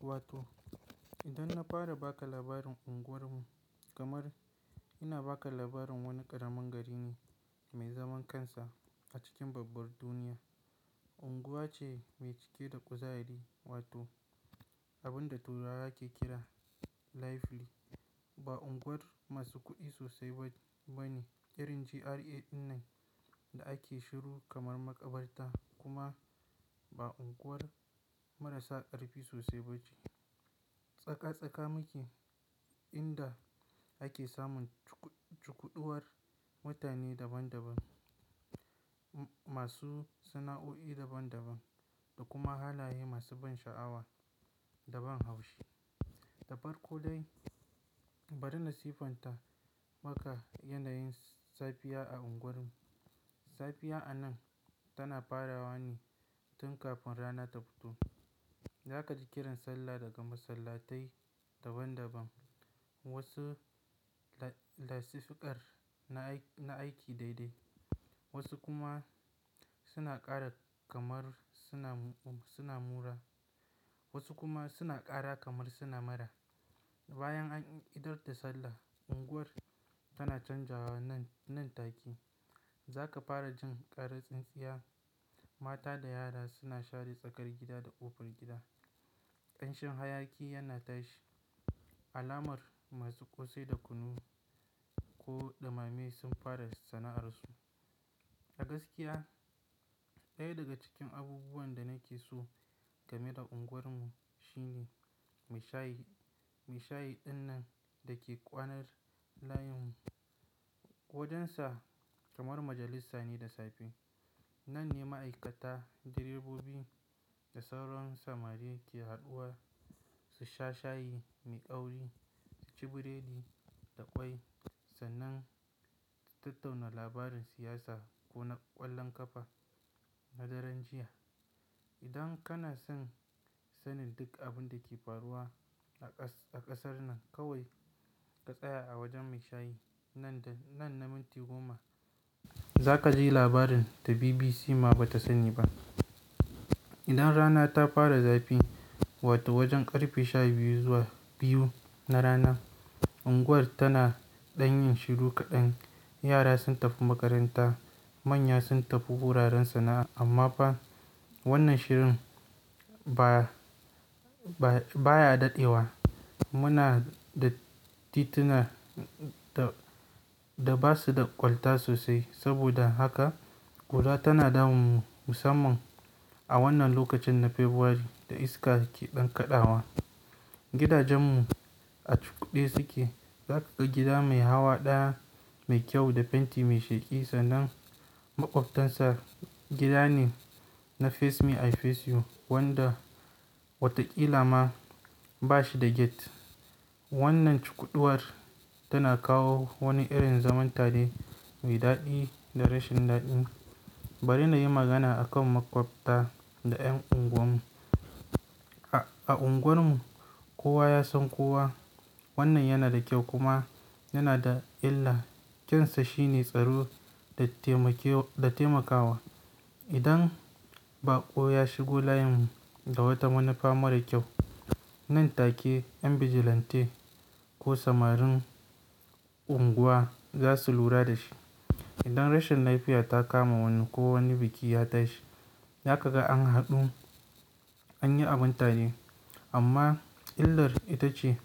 Wato idan na fara baka labarin unguwar mu kamar ina baka labarin wani ƙaramin gari ne mai zaman kansa a cikin babbar duniya. Unguwa ce mai cike da kuzari, wato abunda turawa ke kira lively. Ba unguwar masu kuɗi sosai ba, bane, irin GRA ɗinnan da ake shiru kamar makabarta kuma ba unguwar marasa ƙarfi sosai bace. Tsaka-tsaka muke inda ake samun cukud-cukuduwar mutane daban-daban masu sana'o'i daban-daban da kuma halaye masu ban sha'awa da ban haushi. Da farko dai bari na siffanta maka yanayin safiya a unguwar mu. Safiya a nan tana farawa ne tun kafin rana ta fito. Zakaji kiran sallah daga masallatai daban-daban. Wasu lasifikar na aiki daidai, wasu kuma suna ƙara kamar suna mura, wasu kuma suna ƙara kamar suna mura. Bayan an idar da sallah, unguwar tana canjawa nan, nan take. Zaka fara jin karar tsintsiya. Mata da yara suna share tsakar gida da ƙofar gida. Ƙanshin hayaki yana tashi alamar masu ƙosai da kunu ko ɗumame sun fara sana'arsu. A gaskiya, ɗaya daga cikin abubuwan da nakeso gameda unguwar mu shine mashayi. Meshayi ɗinnan dake kwanar layin mu. Wajensa kamar majalisa ne da safe. Nanne ma'aikata, direbobi da sauran samari ke haduwa su sha shayi mai ƙauri, suci biredi da ƙwai sannan su tattauna labarin siyasa ko na ƙwallon ƙafa na daren jiya. Idan kana son sanin duk abun dake faruwa a ƙasar nan kawai ka tsaya a wajen maishayi nan na minti goma. Zakaji labarin da BBC ma bata sani ba. Idan rana ta fara zafi, wato wajen ƙarfe sha biyu zuwa biyu na rana, unguwar tana ɗanyin shiru kaɗan. Yara sun tafi makaranta, manya sun tafi wuraren sana'a amma fa wannan shirin ba, baya daɗewa. Muna da tituna da basu da ƙwalta sosai saboda haka ƙura tana damun mu musamman a wannan lokacin na Fabuwari da iska ke ɗan kaɗawa. Gidajen mu a cukude suke. Zakaga gida mai hawa ɗaya mai kyau da fenti mai sheki sannan maƙwabtansa gida ne na face me I face you wanda watakila ma bashi da gate. Wannan cukuduwar tana kawo wani irin zaman tare mai daɗi da rashin daɗi. Bari nayi magana akan maƙwabta da 'yan unguwar mu. A unguwar mu kowa yasan kowa. Wannan yana da ƙyau kuma yana da illa. Ƙyansa shine tsaro da taimakewa. Idan baƙo ya shigo layin mu da wata manufa mara ƙyau, nan take ƴan bijilanti ko samarin unguwa zasu lura da shi. Idan rashin lafiya ta kama wani ko wani biki ya tashi, zakaga an haɗu anyi abun tare. Amma illar ita ce